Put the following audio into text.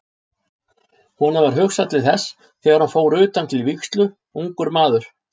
Honum varð hugsað til þess þegar hann fór utan til vígslu, ungur maður.